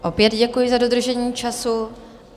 Opět děkuji za dodržení času.